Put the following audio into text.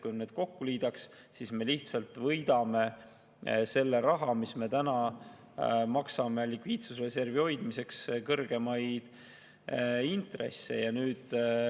Kui me need kokku liidaks, siis me võidaksime selle raha, mis me täna maksame likviidsusreservi hoidmiseks kõrgemate intressidena ära.